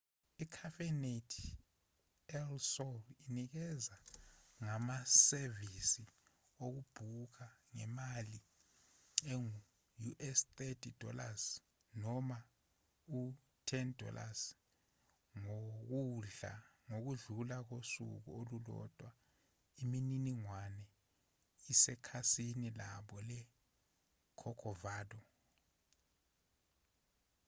i-cafenet el sol inikezela ngamasevisi okubhuka ngemali engu- us$30 noma u- $10 ngokudlula kosuku olulodwa; imininingwane isekhasini labo le-corcovado